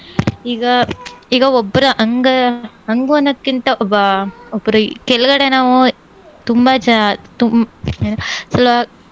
ಈಗ ಈಗ ಒಬ್ರ ಹಂಗ~ ಹಂಗು ಅನ್ನೋದ್ಕಿಂತ ಒಬ್ಬ ಒಬ್ರು ಕೆಳ್ಗಡೆ ನಾವು ತುಂಬಾ ಚ ಹ್ಮ್